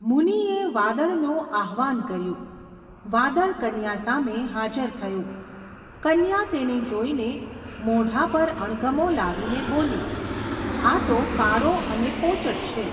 મુનિએ વાદળનું આહવાન કર્યું, વાદળ કન્યા સામે હાજર થયું, કન્યા તેને જોઈને મોઢા પર અણગમો લાવીને બોલી, આ તો કાળો અને પોચટ છે.